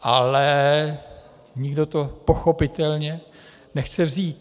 Ale nikdo to pochopitelně nechce vzít.